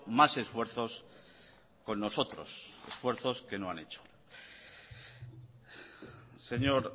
más esfuerzos con nosotros esfuerzos que no han hecho señor